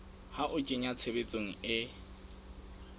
ho a kenya tshebetsong e